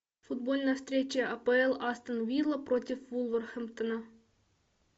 футбольная встреча апл астон вилла против вулверхэмптона